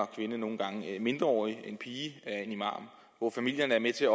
kvinde nogle gange en mindreårig pige og en imam hvor familierne er med til at